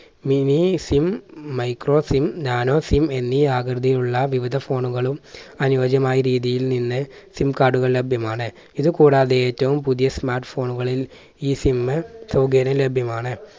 miniSIMmicroSIMnanoSIM എന്നീ ആകൃതിയുള്ള വിവിധ phone കളും അനുയോജ്യമായ രീതിയിൽ നിന്ന് SIM card കൾ ലഭ്യമാണ്. ഇത് കൂടാതെ ഏറ്റവും പുതിയ smart phone കളിൽ ഈ SIM സൗകര്യം ലഭ്യമാണ്.